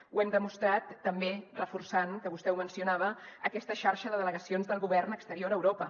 ho hem demostrat també reforçant que vostè ho mencionava aquesta xarxa de delegacions del govern exterior a europa